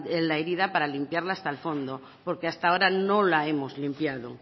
la herida para limpiarla hasta el fondo porque hasta ahora no la hemos limpiado